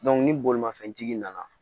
ni bolimafɛn tigi nana